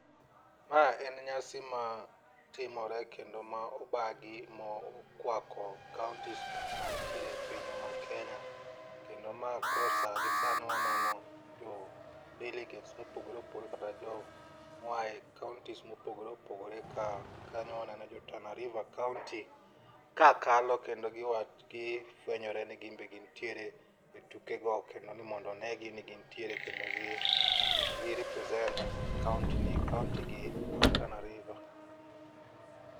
Ma en nyasi ma timore kendo ma obagi mokwako kaontisgo mantiere e pinywa ma kenya kendo ma koro gi sano waneno jo delegates mopogore opogore kata jomoa e kaontis mopogore opogore ka kanyo waneno jo Tana river kaonti ka kalo kendo gifwenyore ni gin be gintiere e tukego kendo ni mondo onegi ni gintiere kendo ni gi represent kaontigi mar Tana river.